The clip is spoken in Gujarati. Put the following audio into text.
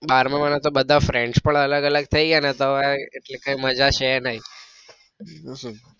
બારમા વાળા તો બધા friends પણ અલગ અલગ થઇ ગયા તો હવે એટલી કઈ મજા છે નઈ.